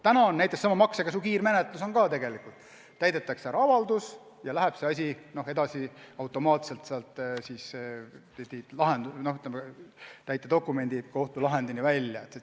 Praegu näiteks maksekäsu kiirmenetluse käigus täidetakse ära avaldus ja see läheb automaatselt edasi täitedokumendi ja kohtulahendini välja.